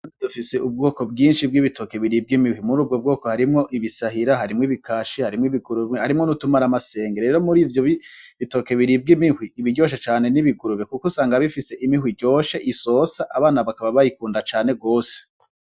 Dufise ubwoko bwinshi bw'ibitoke biribwa imihwi muri ubwo bwoko harimwo ibisahira harimwo ibikashi harimwo ibigurumwe harimwo niutumara amasengero rero muri ivyo bitoke biribwa imihwi ibiryoshe cane n'ibigurube, kuko usanga bifise imihwi iryoshe isosa abana bakaba bayikunda cane rwose.